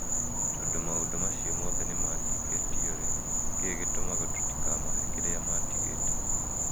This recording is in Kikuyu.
Tondũ maũndũ macio mothe nĩ mahingĩtio-rĩ, nĩ kĩĩ gĩtũmaga tũtikamahe kĩrĩa maatigĩte?